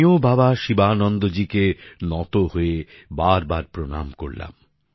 আমিও বাবা শিবানন্দজিকে নত হয়ে বারবার প্রণাম করলাম